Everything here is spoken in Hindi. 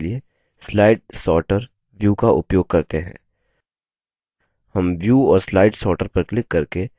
हम we और slide sorter पर क्लिक करके slide sorter we पर जा सकते हैं